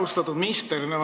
Austatud minister!